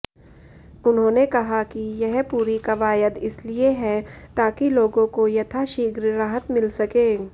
उन्होंने कहा कि यह पूरी कवायद इसलिए है ताकि लोगों को यथाशीघ्र राहत मिल सके